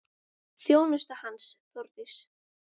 Þjónusta hans, Þórdís